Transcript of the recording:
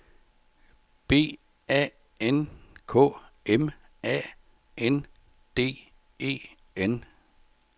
B A N K M A N D E N